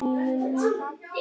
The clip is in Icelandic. Í munni